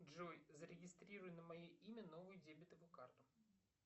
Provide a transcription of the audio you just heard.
джой зарегистрируй на мое имя новую дебетовую карту